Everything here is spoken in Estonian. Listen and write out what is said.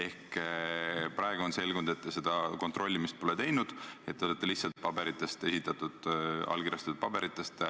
Praeguseks on selgunud, et te seda kontrolli pole teinud ja olete lähtunud lihtsalt allkirjastatud paberitest.